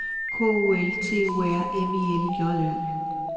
K U L T U R M I L J Ø